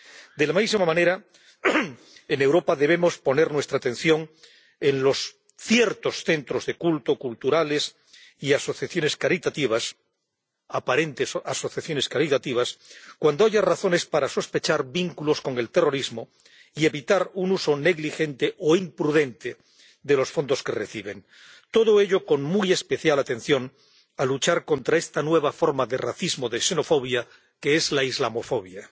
De la misma manera, en Europa debemos poner nuestra atención en centros de culto, culturales y asociaciones caritativas —aparentes asociaciones caritativas— cuando haya razones para sospechar que tienen vínculos con el terrorismo, para evitar un uso negligente o imprudente de los fondos que reciben, todo ello con muy especial atención a la lucha contra esta nueva forma de racismo y de xenofobia que es la islamofobia.